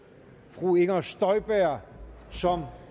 fru inger støjberg som